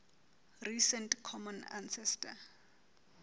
recent common ancestor